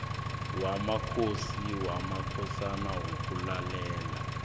wamakhosi namakhosana wokulalela